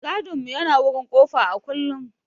Mai gadin mu yana wurin kofa a kullum.